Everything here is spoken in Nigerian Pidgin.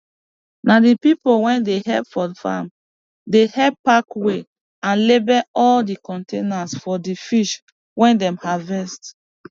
na di pipo wey dey help for farm dey help pack weigh and label all di containers for di fish wey dem harvest